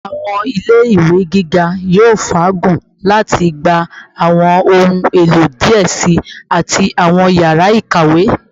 Awọn ile ile-iwe giga yoo faagun lati gba awọn ohun elo diẹ sii ati awọn yara ikawe